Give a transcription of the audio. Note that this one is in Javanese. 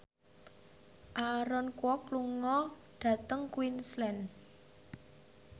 Aaron Kwok lunga dhateng Queensland